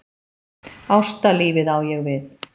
Ástalífið á ég við.